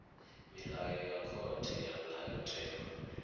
milayo ya khothe ya ndayotewa